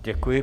Děkuji.